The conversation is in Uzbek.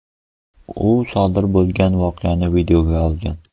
U sodir bo‘lgan voqeani videoga olgan.